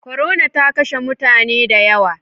Corona ta kashe mutane dayawa